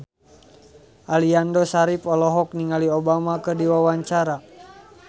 Aliando Syarif olohok ningali Obama keur diwawancara